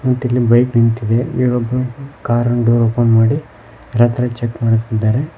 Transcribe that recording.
ಮತ್ತ ಇಲ್ಲಿ ಬೈಕ್ ನಿಂತಿದೆ ಇಲ್ಲಿ ಒಬ್ಬ ಕಾರಂಡು ಓಪನ್ ಮಾಡಿ ರಾತ್ರಿ ಚೆಕ್ ಮಾಡುತ್ತಿದ್ದಾರೆ.